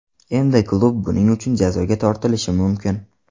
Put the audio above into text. Endi klub buning uchun jazoga tortilishi mumkin.